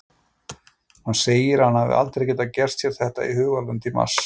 Hann segir að hann hafi aldrei getað gert sér þetta í hugarlund í mars.